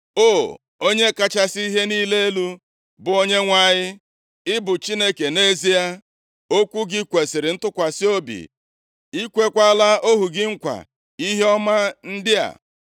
O, Onye kachasị ihe niile elu, bụ Onyenwe anyị, ị bụ Chineke nʼezie. Okwu gị kwesiri ntụkwasị obi. + 7:28 \+xt Ọpụ 34:8; Jos 21:45; Jọn 17:17\+xt* I kweekwala ohu gị nkwa ihe ọma ndị a.